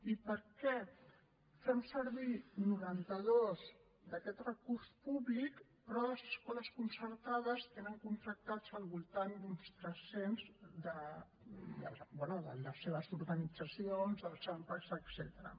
i per què en fem servir noranta dos d’aquest recurs públic però les escoles concertades en tenen contractats al voltant d’uns tres cents bé de les seves organitzacions dels ampa etcètera